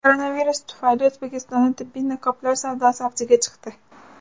Koronavirus tufayli O‘zbekistonda tibbiy niqoblar savdosi avjiga chiqdi.